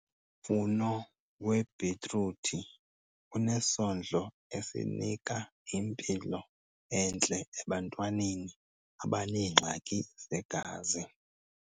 Umfuno webhitruthi unesondlo esinika impilo entle ebantwaneni abaneengxaki zegazi.